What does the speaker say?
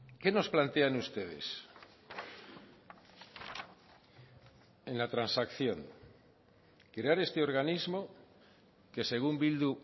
qué nos plantean ustedes en la transacción crear este organismo que según bildu